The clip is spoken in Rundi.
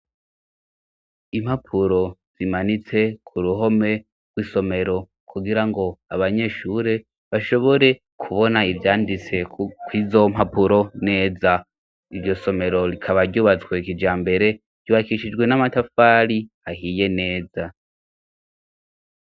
Impapuro zimanitse ku ruhome rw'isomero kugira ngo abanyeshure bashobore kubona ibyanditse kw'izo mpapuro neza ibyo somero rikaba ryubatswe kijambere ryubakishijwe n'amatafari ahiye neza.